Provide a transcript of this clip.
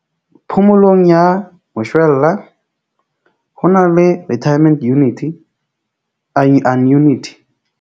Phomolong ya moshwella ho na le retirement unity anunity.